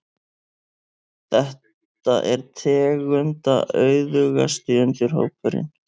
Þetta er tegundaauðugasti undirhópurinn.